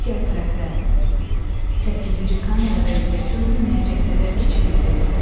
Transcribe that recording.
Digər tərəfdə, səkkizinci kamerada isə görünməyəcək qədər kiçik idi.